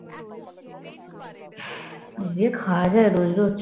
এ দিয়ে খাওয়া যায় রোজ রোজ